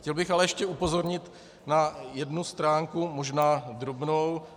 Chtěl bych ale ještě upozornit na jednu stránku, možná drobnou.